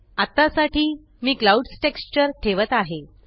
अत्ता साठी मी क्लाउड्स टेक्स्चर ठेवत आहे